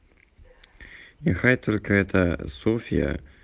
не хай только это софья